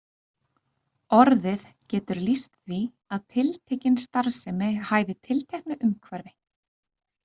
Orðið getur lýst því að tiltekin starfsemi hæfi tilteknu umhverfi.